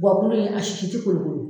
Gakulu in a sisi tɛ kolo kolo